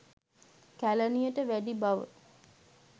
කැලණියට වැඩි බව